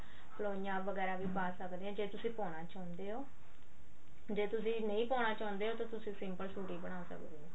ਪਲੋਈਆਂ ਵਗੈਰਾ ਵੀ ਪਾ ਸਕਦੇ ਹਾਂ ਜੇ ਤੁਸੀਂ ਪਾਉਣਾ ਚਾਹੁੰਦੇ ਓ ਜੇ ਤੁਸੀਂ ਨਹੀਂ ਪਾਉਣਾ ਚਾਹੁੰਦੇ ਤਾਂ ਤੁਸੀਂ simple ਸੂਟ ਹੀ ਬਣਾ ਸਕਦੇ ਹੋ